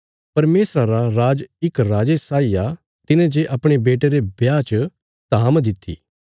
परमेशरा रा राज इक राजे साई आ तिने जे अपणे बेटे रे ब्याह च धाम दित्ति